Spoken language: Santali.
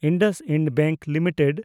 IndusInd bank limited